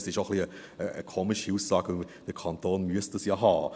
Es ist auch eine etwas komische Aussage, denn der Kanton muss das ja haben.